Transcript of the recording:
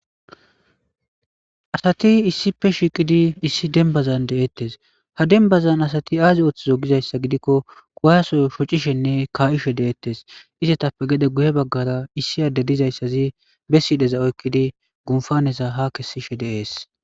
Asati shiqiddi issi demibazani deetesi ha demibazani asati azi ooththizo gikko kuwase shock hishshenne kaishe deetesi izetappe gede guye baggara issi adezi dizayisazi be sudheza oyikkidi qumippanneza ha kesishshe deesi